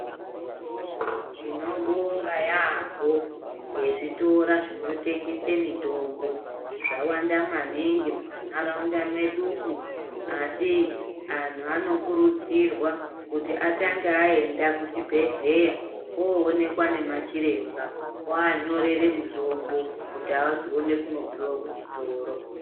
Tinobonga yaampho, ngezvitora zvinotengese mitombo. Zvawanda maningi mumantaraunda mwedumwo, asi antu anokurudzirwa, kuti atange aenda kuchibhedhleya, oonekwa nemachiremba oanyorere mitombo, kuti azoone kunopiwa kuchitoro.